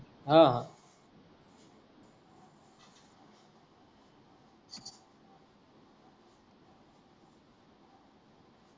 हा हा.